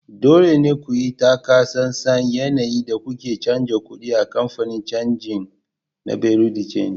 Dole ne ku yi taka tsantsan yayin da kuke canja kuɗi a kamfanin canji na Bureau de change